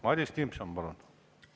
Madis Timpson, palun!